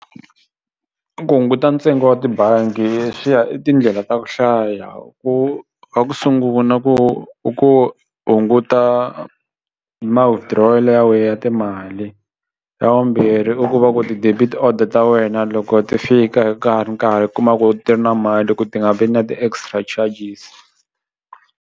Ku hunguta ntsengo wa tibangi swi ya i tindlela ta ku hlaya ku ha ku sungula ku ku hunguta ma-withdrawal ya we ya timali xa vumbirhi i ku va ku ti-debit order ta wena loko ti fika ka ha ri nkarhi u kuma ku ti ri na mali ku ti nga vi na ti-extra charges.